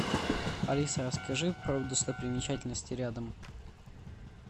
алиса расскажи про достопримечательности рядом